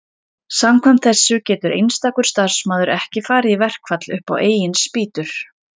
samkvæmt þessu getur einstakur starfsmaður ekki farið í verkfall upp á eigin spýtur